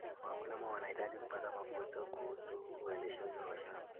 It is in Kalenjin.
Wakulima wanahitaji kupata mafunzo kuhusu uendeshaji wa shamba.